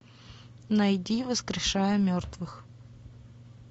найди воскрешая мертвых